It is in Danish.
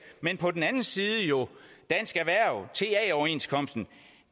men på den anden side dansk erhverv ta overenskomsten